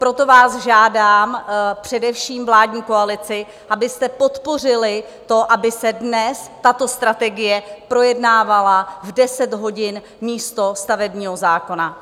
Proto vás žádám, především vládní koalici, abyste podpořili to, aby se dnes tato strategie projednávala v 10 hodin místo stavebního zákona.